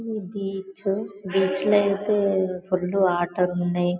Gets gates లో అయితే full ఆటోలు ఉన్నాయి.